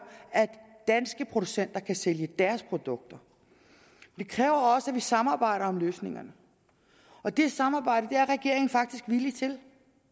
at danske producenter kan sælge deres produkter det kræver også at vi samarbejder om løsningerne og det samarbejde er regeringen faktisk villig til